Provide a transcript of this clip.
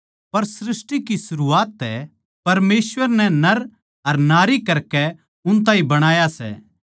पर सृष्टि की सरूआत तै परमेसवर नै नर अर नारी करकै उन ताहीं बणाया सै